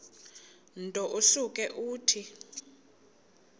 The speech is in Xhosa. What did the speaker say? nto usuke uthi